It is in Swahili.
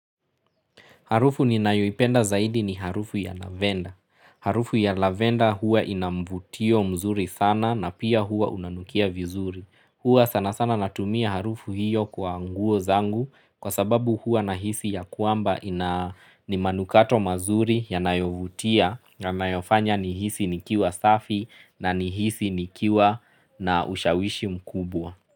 Harufu ninayoipenda zaidi ni harufu ya lavender. Harufu ya lavender hua ina mvutio mzuri sana na pia hua unanukia vizuri. Hua sana sana natumia harufu hiyo kwa nguo zangu kwa sababu hua nahisi ya kwamba. Ni manukato mazuri yanayo vutia na yanayo fanya nihisi nikiwa safi na nihisi nikiwa na ushawishi mkubwa.